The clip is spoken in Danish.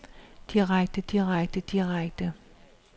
direkte direkte direkte